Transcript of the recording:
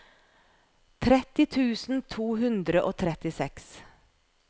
tretti tusen to hundre og trettiseks